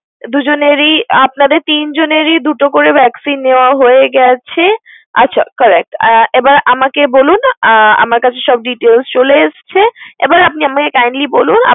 দুজনেরই আপনাদের তিনজনেরই দুটো করে vaccine নেওয়া হয়ে গেছে। আচ্ছা correct । আর এবার আমাকে বলুন আহ আমার কাছে সব details চলে এসেছে এবার আপনি আমাকে kindly বলুন